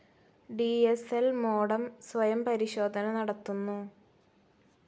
D S L modem സ്വയം പരിശോധന നടത്തുന്നു.